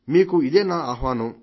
మీకు ఇదే నా ఆహ్వానం